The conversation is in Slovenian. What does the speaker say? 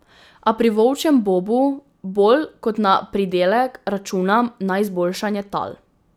A pri volčjem bobu bolj kot na pridelek računam na izboljšanje tal.